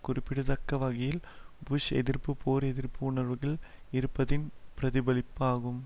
குறிப்பிடத்தக்க வகையில் புஷ்எதிர்ப்பு போர்எதிர்ப்பு உணர்வுகள் இருப்பதின் பிரதிபலிப்பாகும்